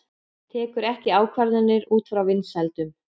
Tekur ekki ákvarðanir út frá vinsældum